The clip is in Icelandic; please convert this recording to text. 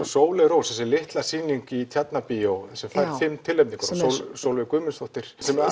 Sóley Rós þessi litla sýning í Tjarnarbíói sem fær fimm tilnefningar og Sólveig Guðmundsdóttir sem